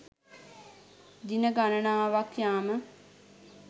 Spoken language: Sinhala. දින ගණනාවක් යාම